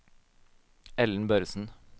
Ellen Børresen